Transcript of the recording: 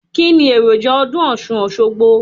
Kíni èròjà ọdún ọ̀ṣun - òṣogbo?